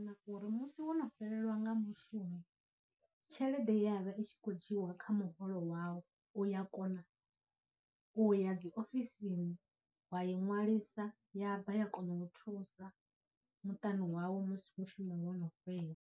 Na uri musi wo no fhelelwa nga mushumo, tshelede ye ya vha i tshi khou dzhiiwa kha muholo wau u ya kona u ya dziofisini wa i ṅwalisa ya bva, ya kona u thusa muṱani wawu musi mushumo wono fhela.